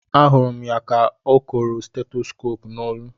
A hụrụ m ya ka o koro stetoskop n'olu